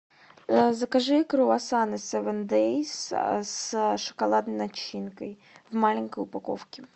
закажи круассаны севен дейс с шоколадной начинкой в маленькой упаковке